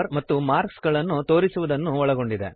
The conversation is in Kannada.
ಮತ್ತು ಮಾರ್ಕ್ಸ್ ಗಳನ್ನು ತೋರಿಸುವುದನ್ನು ಒಳಗೊಂಡಿದೆ